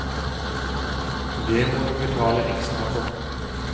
Det må du betale ekstra for.